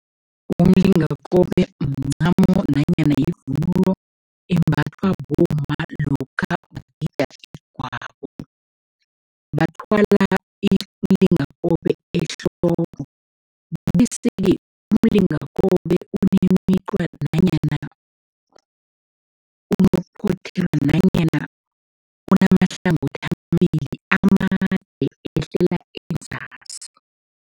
Umlingakobe mncamo nanyana yivunulo embathwa bomma lokha bagida igwabo. Bathwala imilingakobe ehloko bese-ke umlingakobe nanyana nanyana unamahlangothi amabili, amade, ehlela enzasi.